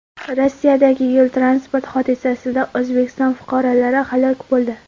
Rossiyadagi yo‘l-transport hodisasida O‘zbekiston fuqarolari halok bo‘ldi.